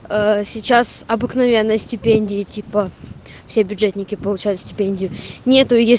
сейчас обыкновенная стипендия типа все бюджетники получают стипендию нету я